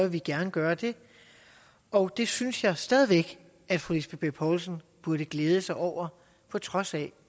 vi gerne gøre det og det synes jeg stadig væk at fru lisbeth bech poulsen burde glæde sig over på trods af